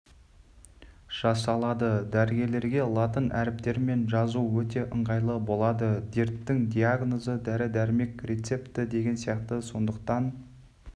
жасалады дәрігерлерге латын әріптерімен жазу өте ыңғайлы болады дерттің диагнозы дәрі-дәрмек рецепті деген сияқты сондықтан